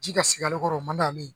Ji ka sigi ale kɔrɔ o man di